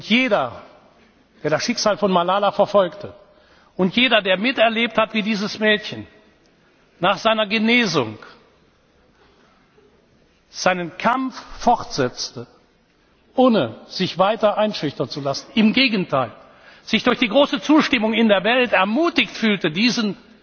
Jeder, der das Schicksal von Malala verfolgte, und jeder, der miterlebt hat, wie dieses Mädchen nach seiner Genesung seinen Kampf fortsetzte, ohne sich weiter einschüchtern zu lassen, im Gegenteil, sich durch die große Zustimmung in der Welt ermutigt fühlte, diesen